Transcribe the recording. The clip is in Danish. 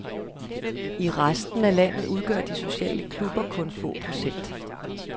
I resten af landet udgør de sociale klubber kun få procent.